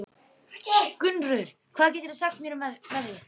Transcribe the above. Gunnröður, hvað geturðu sagt mér um veðrið?